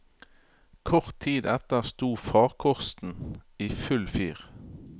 Kort tid etter sto farkosten i full fyr.